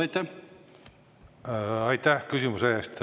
Aitäh küsimuse eest!